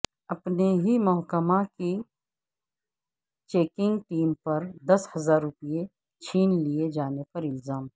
اپنے ہی محکمہ کی چیکنگ ٹیم پر دس ہزار روپیہ چھین لئے جانے کا الزام